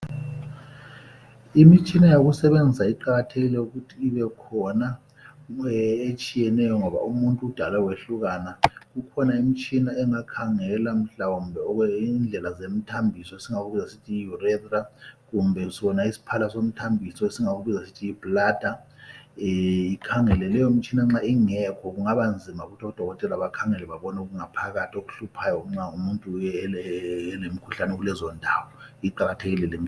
Imitshina yokusebenza iqakathekile ukuthi ibekhona, etshiyeneyo, ngoba umuntu udale wehlukana. Kukhona imitshina engakhangela mhlawumbe indlela zemithambiso, esingakubiza sithi yi urethra, kumbe sona isiphala somthambiso, esingakuibiza sithi yibladder. lkhangele. Leyomtshina nxa ingekho, kungabanzima ukuthi odokotela bakhangele babone okungaphakathi. Ukuthi babone imikhuhlane eyabe ikulezondawo. Iqakathekile limiting.